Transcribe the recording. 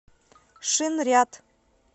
шинряд